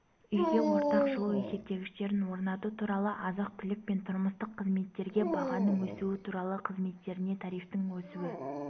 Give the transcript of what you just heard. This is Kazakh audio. үйге ортақ жылу есептегіштерін орнату туралы азық-түлік пен тұрмыстық қызметтерге бағаның өсуі туралы қызметтеріне тарифтердің өсуі